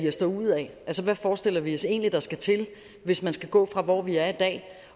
os derudad altså hvad forestiller vi os egentlig der skal til hvis man skal gå fra hvor vi er i dag